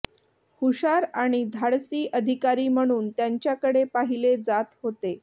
हुशार आणि धाडसी अधिकारी म्हणून त्यांच्याकडे पाहिले जात होते